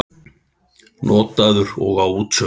Notaður og á útsölu